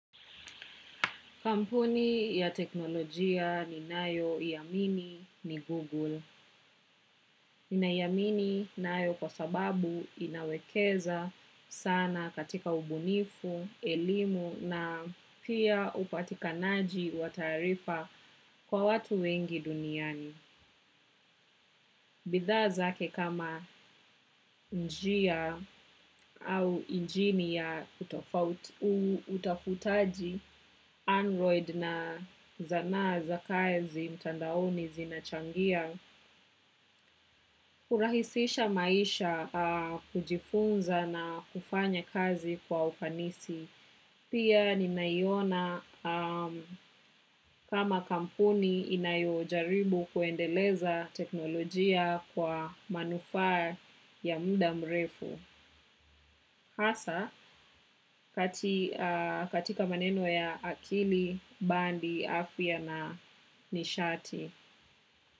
Kampuni ya teknolojia ni nayo iamini ni Google. Ninaiamini nayo kwa sababu inawekeza sana katika ubunifu, elimu na pia upatikanaji wa taarifa kwa watu wengi duniani. Bidha zake kama njia au injini ya utafutaji android na zanaa za kazi mtandaoni zimechangia kurahisisha maisha, kujifunza na kufanya kazi kwa ufanisi. Pia ninaiona kama kampuni inayo jaribu kuendeleza teknolojia kwa manufaa ya muda mrefu. Hasa katika maneno ya akili, bandi, afya na nishati.